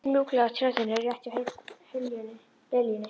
Tunglið flaut mjúklega á Tjörninni rétt hjá liljunni.